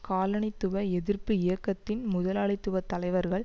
காலனித்துவ எதிர்ப்பு இயக்கத்தின் முதலாளித்துவ தலைவர்கள்